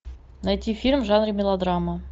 найти фильм в жанре мелодрама